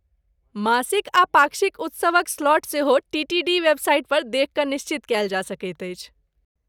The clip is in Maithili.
मासिक आ पाक्षिक उत्सवक स्लॉट सेहो टीटीडी वेबसाइट पर देखि कऽ निश्चित कयल जा सकैत अछि।